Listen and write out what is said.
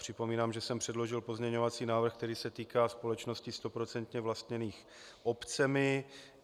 Připomínám, že jsem předložil pozměňovací návrh, který se týká společností stoprocentně vlastněných obcemi.